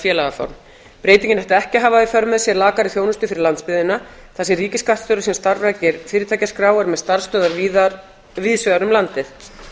félagaform breytingin ætti ekki að hafa í för með sér lakari þjónustu fyrir landsbyggðina þar sem ríkisskattstjóri sem starfrækir fyrirtækjaskrá er með starfsstöðvar víðsvegar um landið